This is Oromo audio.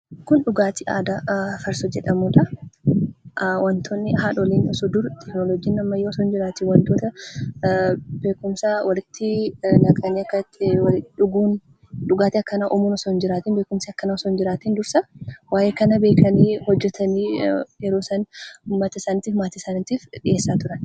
Kun dhugaatii aadaa farsoo jedhamudha. Wanta haadholiin dur osoo teekinooloojiin ammayyaa hin jiraatiin beekkumsa isaaniin naqanii kan hawaasaa fi maatii isaaniitiif dhiheessanidha.